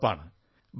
എന്നുറപ്പാണ്